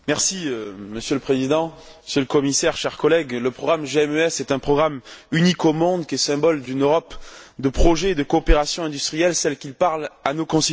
Monsieur le Président, Monsieur le Commissaire, chers collègues, le programme GMES est un programme unique au monde, qui est symbole d'une Europe de projets de coopération industrielle, celle qui parle à nos concitoyens.